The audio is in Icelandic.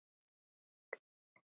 á, áll, hlust